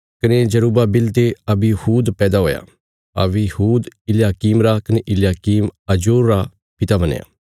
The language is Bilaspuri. कने जरुब्बाबिल ते अबीहूद पैदा हुया अबीहूद इल्याकीम रा कने इल्याकीम अजोर रा पिता बणया